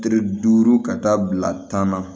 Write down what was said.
Kile duuru ka taa bila tan na